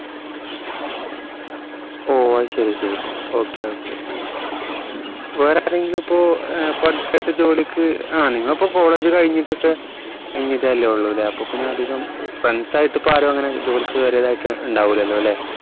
ഓ അയ്‌ശെരി അയ്‌ശെരി okay okay വേറെ ആരെങ്കിലും ഇപ്പോ ഏർ ഇപ്പോ അടുത്തയിട്ട് ജോലിക്ക് ആഹ് നിങ്ങൾ ഇപ്പോ college കഴിഞ്ഞിട്ട് കഴിഞ്ഞതല്ലേ ഉള്ളു ല്ലേ അപ്പൊ പിന്നെ അധികം friends ആയിട്ട് ഇപ്പോ ആരു അങ്ങനെ ജോലിക്ക് കയറിയതായിട്ട് ഉണ്ടാവൂലാലോ അല്ലേ